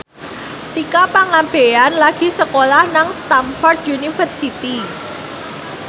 Tika Pangabean lagi sekolah nang Stamford University